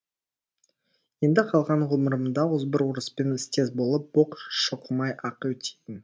енді қалған ғұмырымда озбыр орыспен істес болып боқ шоқымай ақ өтейін